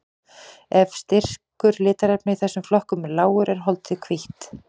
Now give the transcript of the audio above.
Ef styrkur litarefna í þessum flokkum er lágur er holdið hvítt.